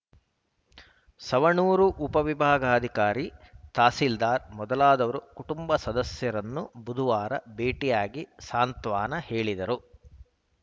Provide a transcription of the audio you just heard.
ಸವಣೂರು ಉಪವಿಭಾಗಾಧಿಕಾರಿ ತಹಸೀಲ್ದಾರ್‌ ಮೊದಲಾದವರು ಕುಟುಂಬ ಸದಸ್ಯರನ್ನು ಬುಧವಾರ ಭೇಟಿಯಾಗಿ ಸಾಂತ್ವನ ಹೇಳಿದರು